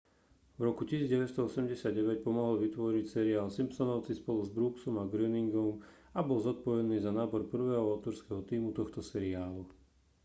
v roku 1989 pomohol vytvoriť seriál simpsonovci spolu s brooksom a groeningom a bol zodpovedný za nábor prvého autorského tímu tohto seriálu